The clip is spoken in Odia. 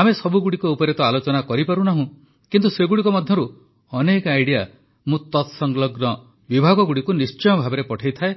ଆମେ ସବୁଗୁଡ଼ିକ ଉପରେ ତ ଆଲୋଚନା କରିପାରୁନାହୁଁ କିନ୍ତୁ ସେଗୁଡ଼ିକ ମଧ୍ୟରୁ ଅନେକ ଆଇଡିଆ ମୁଁ ତତ୍ସଂଲଗ୍ନ ବିଭାଗଗୁଡ଼ିକୁ ନିଶ୍ଚୟ ଭାବେ ପଠାଇଥାଏଁ